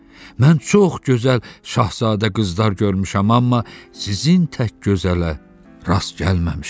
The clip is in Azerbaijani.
Mən çox gözəl Şahzadə qızlar görmüşəm, amma sizin tək gözələ rast gəlməmişəm.